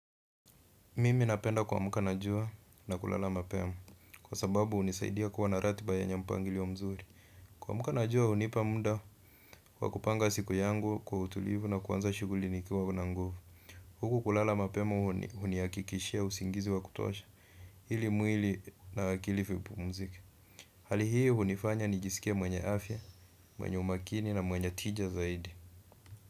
Mimi napenda kuamka na jua na kulala mapema kwa sababu hunisaidia kuwa na ratiba yenye mpangilio mzuri kuamuka na jua hunipa muda wa kupanga siku yangu kwa utulivu na kuanza shughuli nikiwa na nguvu huku kulala mapema hunihakikishia usingizi wa kutosha ili mwili na akili vipumzike hali hiyo hunifanya nijisikie mwenye afya, mwenye umakini na mwenye tija zaidi.